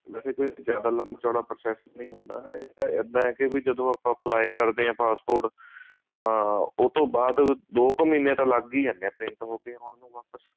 ਵੇਸੇ ਕੋਈ ਜਿਆਦਾ ਲੰਬਾ ਚੋੜਾ process ਨੀ ਹੁੰਦਾ ਇੱਦਾਂ ਹੈ ਕੀ ਜਦੋਂ ਆਪਾਂ apply ਕਰਦੇ ਹਾਂ passport ਤਾਂ ਉਹਤੋਂ ਬਾਅਦ ਦੋ ਕੁ ਮਹੀਨੇ ਤਾਂ ਲੱਗ ਜਾਂਦੇ ਆ print ਹੋ ਕੇ ਆਉਣ ਨੂੰ ਵਾਪਿਸ